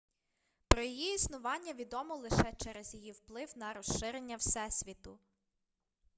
про її існування відомо лише через її вплив на розширення всесвіту